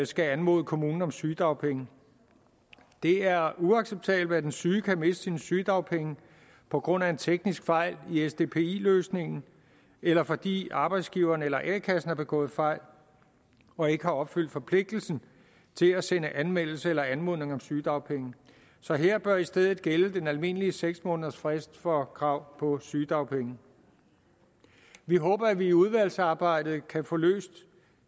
skal anmode kommunen om sygedagpenge det er uacceptabelt at den syge kan miste sine sygedagpenge på grund af en teknisk fejl i sdpi løsningen eller fordi arbejdsgiveren eller a kassen har begået fejl og ikke har opfyldt forpligtelsen til at sende anmeldelse eller anmodning om sygedagpenge så her bør i stedet gælde den almindelige seks måneders frist for krav på sygedagpenge vi håber at vi i udvalgsarbejdet kan få løst